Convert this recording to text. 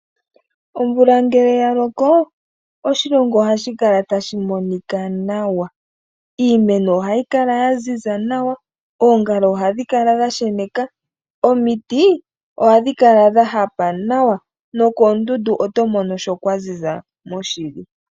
Omvula ngele yaloko, oshilongo ohashi kala tashi monika nawa. Iimeno ohayi kala yaziza nawa, oongala ohadhi kala dhasheneka, omiti ohadhi kala dha hapa nawa nokoondundu oto mono kwa ziza moshili.